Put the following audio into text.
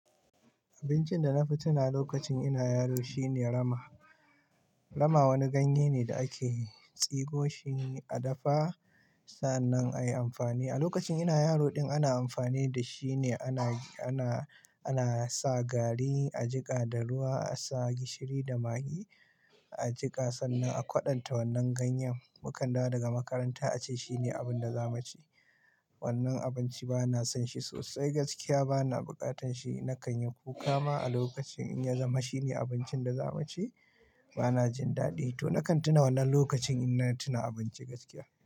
Abincin da na fi tunawa lokacin ina yaro shine rama. Rama wani ganye ne da ake tsigo shi a dafa sannan a yi amfani da shi. A lokacin ina yaro din ana amfani da shi ne, ana, ana, ana sa gari a jiƙa da ruwa, a sa gishiri da magi a jiƙa sannan a kwaɗanta wannan ganyen. Mukan dawo daga makaranta a ce shine abin da za mu ci. Wannan abinci ba na son shi sosai gaskiya, ba na bukatan shi. Na kan yi kuka ma a lokacin in ya zama shine abincin da za mu ci. Ba na jin daɗi to na kan tuna wannan lokacin ina tuna abinci gaskiya.